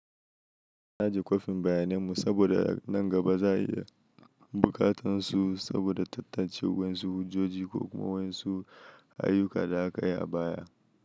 Naji kwafin bayanan mu saboda nan gaba za a iya buƙatar su saboda tattace wayansu hujjoji ko kuma wayansu ayyukan da aka yi a baya.